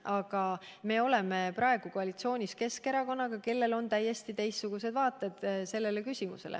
Aga me oleme praegu koalitsioonis Keskerakonnaga, kellel on täiesti teistsugused vaated selles küsimuses.